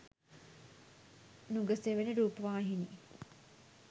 nugasewana rupavahini